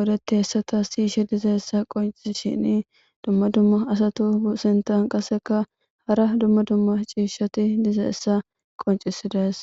odeti hessata siyishe dizeessa qonc shini dumma dumma asatu sintan qaseka hara dumma dumma ciishshati dizeessa qoncisidees